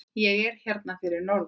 Ég er hérna fyrir norðan.